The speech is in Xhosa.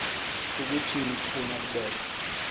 kukuthini ukufuna ukubetha